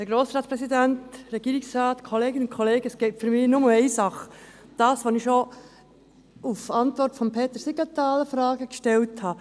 Für mich gibt es nur eine Sache: die Fragen, die ich schon als Antwort auf Peter Siegenthaler gestellt habe.